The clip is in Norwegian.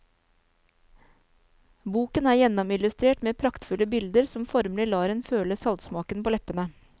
Boken er gjennomillustrert med praktfulle bilder som formelig lar en føle saltsmaken på leppene.